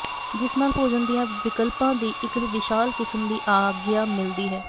ਜਿਸ ਨਾਲ ਭੋਜਨ ਦੀਆਂ ਵਿਕਲਪਾਂ ਦੀ ਇੱਕ ਵਿਸ਼ਾਲ ਕਿਸਮ ਦੀ ਆਗਿਆ ਮਿਲਦੀ ਹੈ